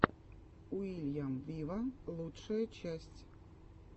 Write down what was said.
уильям виво лучшая часть